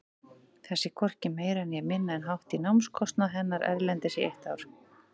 Það sé hvorki meira né minna en hátt í námskostnað hennar erlendis í eitt ár.